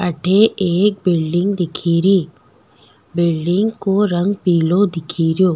अठ एक बिल्डिंग दिखेरी बिल्डिंग को रंग पिलो दिखेरो।